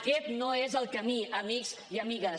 aquest no és el camí amics i amigues